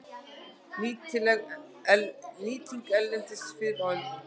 Nýting erlendis fyrr á öldum